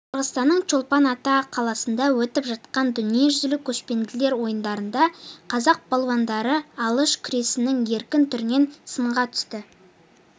қырғызстанның чолпан-ата қаласында өтіп жатқан дүниежүзілік көшпенділер ойындарында қазақ балуандары алыш күресінің еркін түрінен сынға түсіп